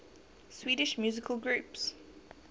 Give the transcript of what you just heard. swedish musical groups